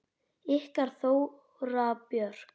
Ykkar Þóra Björk.